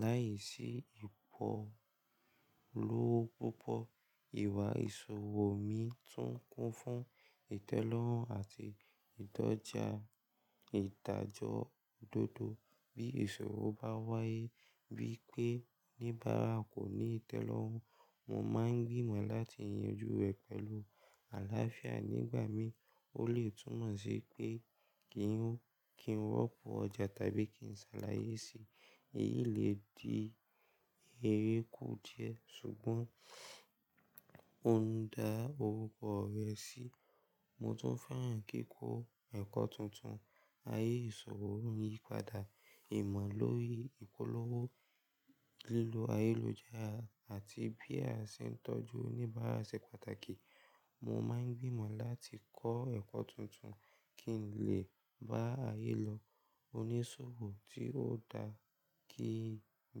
láìsí ìpolówó púpọ̀. Ìwà ìṣòwò mi tún kún fún ìtẹ́lọ́rùn àti ìdọ́ja ìdájọ òdodo. Bí ìsọwọ́ bá wáyé bí pé oníbàárà kò ní ìtẹ́lọ́rùn, mo máa ń gbìmọ̀ láti yanjú ẹ pẹ̀lú àlàáfíà. Nígbà mí, ó lè túmọ̀ sí pé kí n, kí n rọ́pò ọjà tàbí kí n ṣàlàyé sí i. Èyí lè di eréku díẹ̀ ṣùgbọ́n ó ń da orúkọ rẹ sí i. Mo tún fẹ́ràn kí kọ́ ẹ̀kọ́ tuntun. Ayé ìṣòwò ń yípadà. Ìmọ̀ lórí ìpolówó lílo ayélujára àti bí a ṣe ń tọ́jú oníbàárà ṣe pàtàkì. Mo máa ń gbìmọ̀ láti kọ́ ẹ̀kọ́ tuntun kí n lè bá ayé lọ onísọwọ́ tí ó dá kí n.